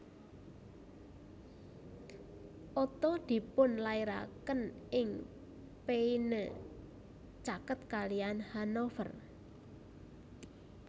Otto dipunlairaken ing Peine caket kaliyan Hanover